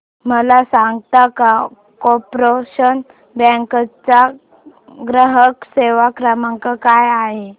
मला सांगता का कॉर्पोरेशन बँक चा ग्राहक सेवा क्रमांक काय आहे